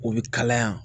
O bɛ kalaya